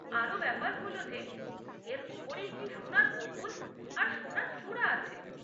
আরও ব্যাপার হল যে এর ওপরে একটি সোনার গম্বুজ আর সোনার চূড়া আছে।